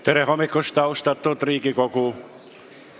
Tere hommikust, austatud Riigikogu!